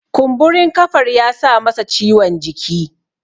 kumburin kafar ya sa masa ciwon jiki